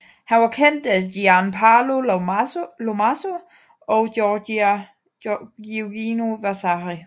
Han var kendt af Gian Paolo Lomazzo og Giorgio Vasari